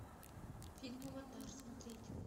фильм аватар смотреть